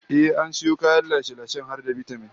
Ehh, an sayo kayan lashe-lashen har da bitamin